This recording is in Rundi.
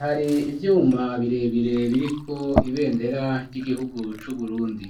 hari ivyuma birebire biriko ibendera ry'igihugu c'Uburundi.